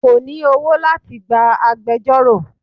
Kò ní owó láti gba agbejọ́rò.